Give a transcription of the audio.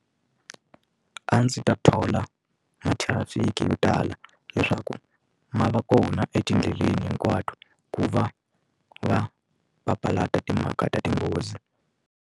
A ndzi ta thola mathirafiki yo tala leswaku ma va kona etindleleni hinkwato ku va va papalata timhaka ta tinghozi.